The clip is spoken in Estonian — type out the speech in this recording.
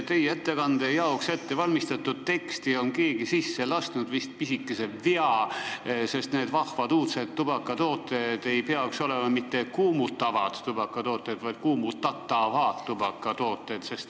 Teie ettekande jaoks ettevalmistatud teksti on keegi sisse lasknud pisikese vea, sest need vahvad uudsed tubakatooted ei peaks olema mitte kuumutavad tubakatooted, vaid kuumutatavad tubakatooted.